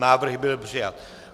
Návrh byl přijat.